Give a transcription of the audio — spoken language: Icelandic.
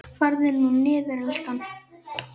Farðu nú niður, elskan.